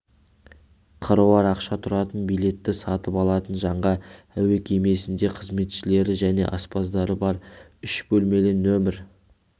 қыруар ақша тұратын билетті сатып алатын жанға әуе кемесінде қызметшілері және аспаздары бар үш бөлмелі нөмір